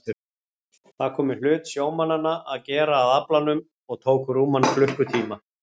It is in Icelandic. Það kom í hlut sjómannanna að gera að aflanum og tók rúman klukkutíma.